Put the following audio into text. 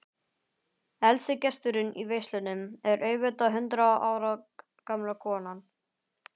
Elsti gesturinn í veislunni er auðvitað hundrað ára gamla konan.